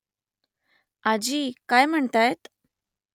आजी काय म्हणतायत ?